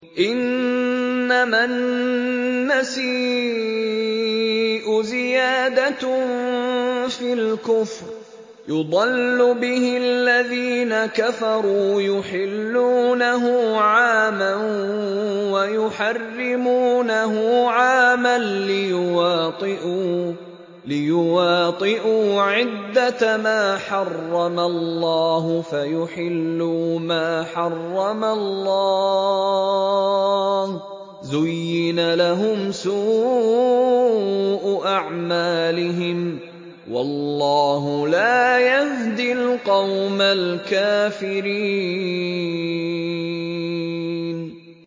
إِنَّمَا النَّسِيءُ زِيَادَةٌ فِي الْكُفْرِ ۖ يُضَلُّ بِهِ الَّذِينَ كَفَرُوا يُحِلُّونَهُ عَامًا وَيُحَرِّمُونَهُ عَامًا لِّيُوَاطِئُوا عِدَّةَ مَا حَرَّمَ اللَّهُ فَيُحِلُّوا مَا حَرَّمَ اللَّهُ ۚ زُيِّنَ لَهُمْ سُوءُ أَعْمَالِهِمْ ۗ وَاللَّهُ لَا يَهْدِي الْقَوْمَ الْكَافِرِينَ